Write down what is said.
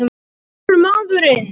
Ég er maðurinn!